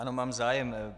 Ano, mám zájem.